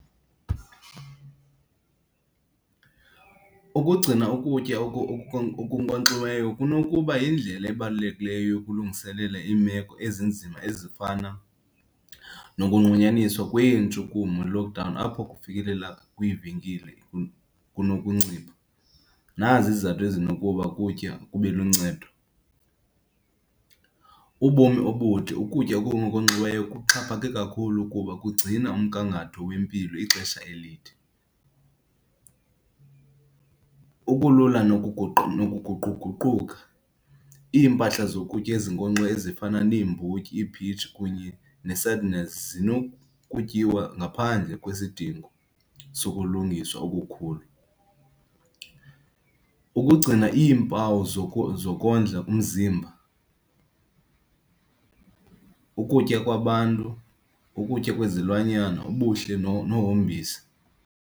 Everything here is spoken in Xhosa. Ukugcina ukutya okunkonkxiweyo kunokuba yindlela ebalulekileyo yokulungiselela iimeko ezinzima ezifana nokunqunyanyiswa kwentshukumo logama apho kufikelela kwiivenkile kunokuncipha. Nazi izizathu ezinokuba ukutya kube luncedo, ubomi obude. Ukutya okunkonkxiweyo kuxhaphake kakhulu kuba kugcina umgangatho wempilo ixesha elide. Ubulula nokuguquguquka, iimpahla zokutya ezinkonkxeni ezifana neembotyi, ii-peach kunye nee-sardines zinokutyiwa ngaphandle kwezidingo sokulungiswa okukhula. Ukugcina iimpawu zokondla umzimba, ukutya kwabantu, ukutya kwezilwanyana, ubuhle nohombisa.